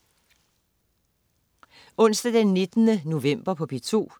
Onsdag den 19. november - P2: